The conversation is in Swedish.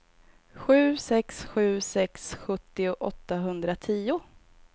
sju sex sju sex sjuttio åttahundratio